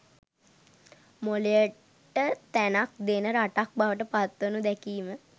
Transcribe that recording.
මොළයට තැනක් දෙන රටක් බවට පත්වනු දැකීම